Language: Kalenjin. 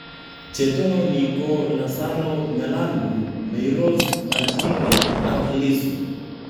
Che tononi ko Lasaro Nyalandu, Mayrose Majinge ak Lissu